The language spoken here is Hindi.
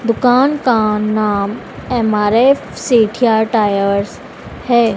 दुकान का नाम एम_आर_एफ सेठिया टायर्स है।